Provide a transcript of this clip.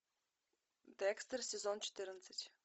декстер сезон четырнадцать